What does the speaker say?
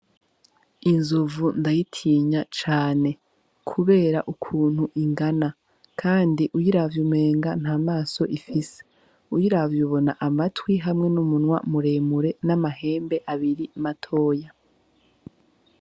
Inzovu ndayitinya cane, kubera ukuntu ingana, kandi uyiravye umenga nta maso ifise uyiravye ubona amatwi hamwe n'umunwa muremure n'amahembe abiri matoya.